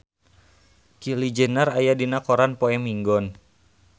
Kylie Jenner aya dina koran poe Minggon